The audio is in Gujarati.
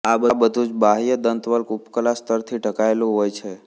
આ બધુ જ બાહ્ય દંતવલ્ક ઉપકલા સ્તરથી ઢંકાયેલું હોય છે